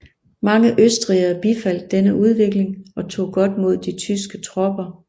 Mange østrigere bifaldt denne udvikling og tog godt mod de tyske tropper